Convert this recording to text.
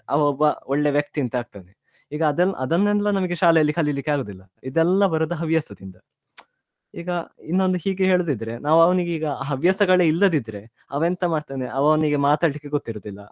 ಅವ ಒಬ್ಬ ಒಳ್ಳೆ ವ್ಯಕ್ತಿ ಅಂತ ಅಂತ ಅಗ್ತದೆ ಈಗ ಅದನ್~ ಅದನೆಲ್ಲ ಶಾಲೆಯಲ್ಲಿ ಕಲಿಲಿಕೆ ಆಗುದಿಲ್ಲ ಇದೆಲ್ಲ ಬರುದು ಹವ್ಯಾಸದಿಂದ ಈಗ ಇನ್ನೊಂದು ಹೀಗೆ ಹೇಳುದಿದ್ರೆ ನಾವ್ ಅವನಿಗೆ ಈಗ ಹವ್ಯಾಸಗಳೆ ಇಲ್ಲದಿದ್ರೆ ಅವ ಎಂತ ಮಾಡ್ತಾನೆ ಅವ ಅವನಿಗೆ ಮಾತಾಡ್ಲಿಕ್ಕೆ ಗೊತ್ತಿರುದಿಲ್ಲ.